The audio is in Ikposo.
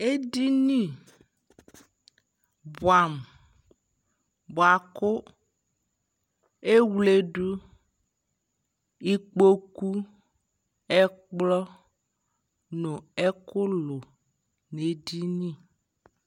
ɛdini bua muBuaku ewledu, ikpoku, ɛkplɔ nu ɛku lu nɛ di ni